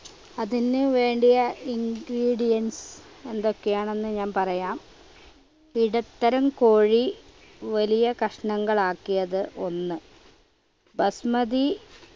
അതിന് വേണ്ടിയ ingredients എന്തൊക്കെയാണെന്ന് ഞാൻ പറയാം. ഇടത്തരം കോഴി വലിയ കഷ്ണങ്ങളാക്കിയത് ഒന്ന് ബസ്മതി